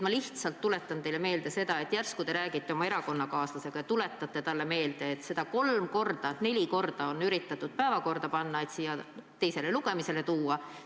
Ma lihtsalt tuletan teile meelde seda, et järsku te räägite oma erakonnakaaslasega ja tuletate talle meelde, et seda on kolm-neli korda üritatud päevakorda panna, et siia teisele lugemisele tuua.